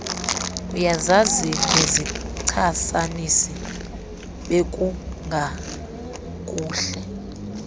uyazazi nezichasanisi bekungakuhle